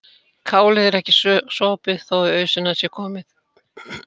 Kálið er ekki sopið þó í ausuna sé komið.